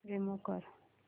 remove कर